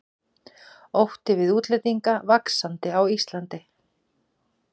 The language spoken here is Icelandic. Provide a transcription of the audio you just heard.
Ótti við útlendinga vaxandi á Íslandi